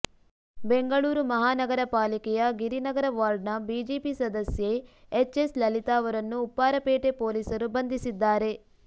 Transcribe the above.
ಬೆಂಗಳೂರು ಮಹಾನಗರ ಪಾಲಿಕೆಯ ಗಿರಿನಗರ ವಾರ್ಡ್ನ ಬಿಜೆಪಿ ಸದಸ್ಯೆ ಎಚ್ಎಸ್ ಲಲಿತಾ ಅವರನ್ನು ಉಪ್ಪಾರಪೇಟೆ ಪೊಲೀಸರು ಬಂಧಿಸಿದ್ದಾರೆ